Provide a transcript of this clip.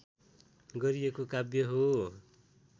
गरिएको काव्य हो